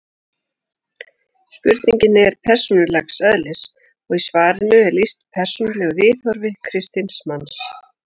spurningin er persónulegs eðlis og í svarinu er lýst persónulegu viðhorfi kristins manns